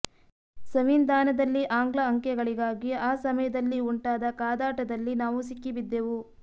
ಸಂವಿಧಾನದಲ್ಲಿ ಆಂಗ್ಲ ಅಂಕೆಗಳಿಗಾಗಿ ಆ ಸಮಯದಲ್ಲಿ ಉಂಟಾದ ಕಾದಾಟದಲ್ಲಿ ನಾವು ಸಿಕ್ಕಿ ಬಿದ್ದೆವು